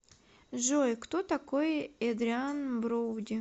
джой кто такой эдриан броуди